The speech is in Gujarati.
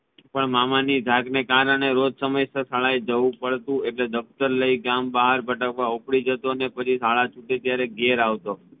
પણ મામાની ધાક ના કારણે સમયસર શાળાએ જવુ પડતુ એટલે દફતર લઇ ગામ બહાર ભટકવા ઉપડી જતો ને પછી શાળા છૂટે ત્યારે ઘેર આવતો